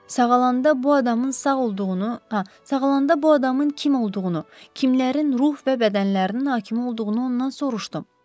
Sağalanda bu adamın sağ olduğunu, sağalanda bu adamın kim olduğunu, kimlərin ruh və bədənlərinin hakimi olduğunu ondan soruşdum.